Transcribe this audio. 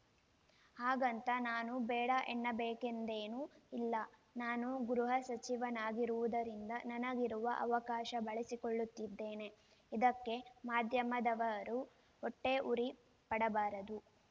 ಹಾಗಂತ ನಾನು ಬೇಡ ಎನ್ನಬೇಕೆಂದೇನೂ ಇಲ್ಲ ನಾನು ಗೃಹ ಸಚಿವನಾಗಿರುವುದರಿಂದ ನನಗಿರುವ ಅವಕಾಶ ಬಳಸಿಕೊಳ್ಳುತ್ತಿದ್ದೇನೆ ಇದಕ್ಕೆ ಮಾಧ್ಯಮದವರು ಹೊಟ್ಟೆಯುರಿ ಪಡಬಾರದು